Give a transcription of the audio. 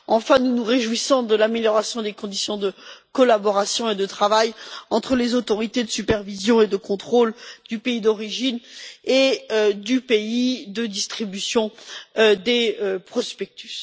Enfin, nous nous réjouissons de l'amélioration des conditions de collaboration et de travail entre les autorités de supervision et de contrôle du pays d'origine et du pays de distribution des prospectus.